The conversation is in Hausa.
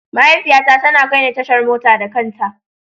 Mahaifiyata tana kai ni tashar mota da kanta.